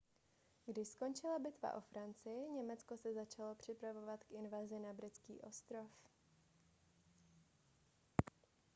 když skončila bitva o francii německo se začalo připravovat k invazi na britský ostrov